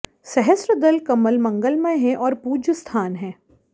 सहस्रदल कमल मंगलमय है और पूज्य स्थान है